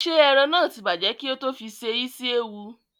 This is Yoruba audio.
Ṣé ẹran náà tí bàjẹ́ kí ó tó fi se isi ewu?